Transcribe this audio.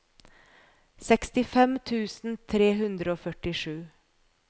sekstifem tusen tre hundre og førtisju